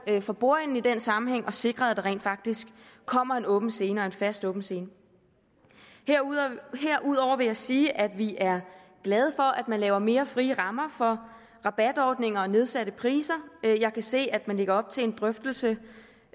for bordenden i den sammenhæng og sikrede at der rent faktisk kommer en åben scene og en fast åben scene herudover vil jeg sige at vi er glade for at man laver mere frie rammer for rabatordninger og nedsatte priser jeg kan se at man lægger op til en drøftelse